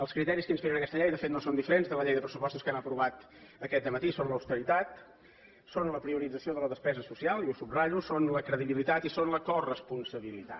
els criteris que inspiren aquesta llei de fet no són diferents dels de la llei de pressupostos que hem aprovat aquest matí són l’austeritat són la priorització de la despesa social i ho subratllo són la credibilitat i són la coresponsabilitat